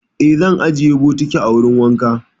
Eh, zan ajiye bokitin a wurin wanka.